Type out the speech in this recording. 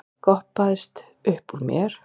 goppaðist uppúr mér.